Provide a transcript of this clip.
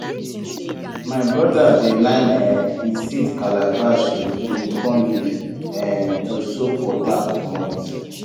my brother dey line um e seed calabash with guinea corn leaf um to soak water commot